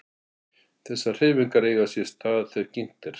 Þessar hreyfingar eiga sér stað þegar kyngt er.